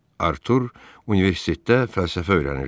Artur universitetdə fəlsəfə öyrənirdi.